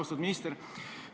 Austatud minister!